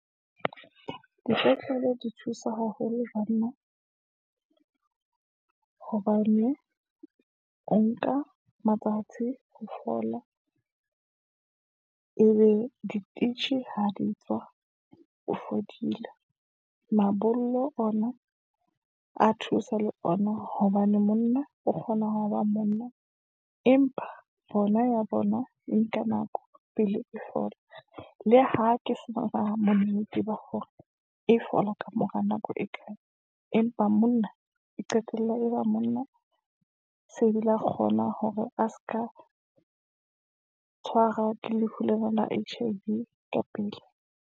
Dipetlele di thusa haholo banna, hobane o nka matsatsi ho fola, e be di ha di tswa o fodile. Mabollo ona a thusa le ona hobane monna o kgona ho ba monna, Empa bona ya bona e nka nako pele e fola, le ha ke sona bonnete ba hore, e fola kamora nako e kae. Empa ba monna e qetella e ba monna, se ebile a kgona hore a se ka tshwarwa ke lefu lena la H_ I _V ka pele.